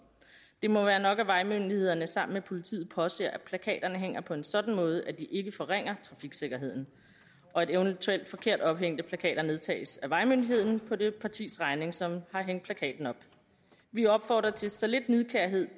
det må være nok at vejmyndighederne sammen med politiet påser at plakaterne hænger på en sådan måde at de ikke forringer trafiksikkerheden og at eventuelt forkert ophængte plakater nedtages af vejmyndigheden på det partis regning som har hængt plakaten op vi opfordrer til så lidt nidkærhed